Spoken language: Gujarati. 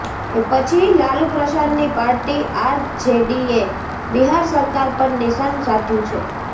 એ પછી લાલુ પ્રસાદની પાર્ટી આરજેડીએ બિહાર સરકાર પર નિશાન સાધ્યુ છે